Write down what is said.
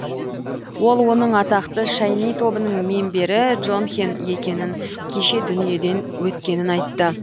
ол оның атақты шайни тобының мембері джонхен екенін кеше дүниеден өткенін айтты